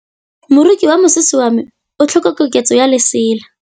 Moroki wa mosese wa me o tlhoka koketsô ya lesela.